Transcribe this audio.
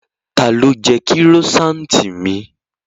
Ta ló jẹ kírósaanti mi?